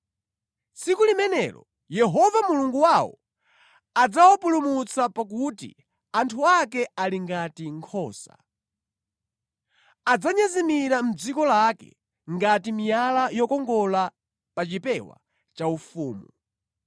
Tsiku limenelo Yehova Mulungu wawo adzawapulumutsa pakuti anthu ake ali ngati nkhosa. Adzanyezimira mʼdziko lake ngati miyala yokongola pa chipewa chaufumu.